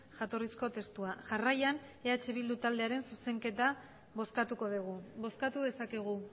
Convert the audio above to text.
jatorrizko testua jarraian eh bildu taldearen zuzenketa bozkatuko dugu bozkatu dezakegu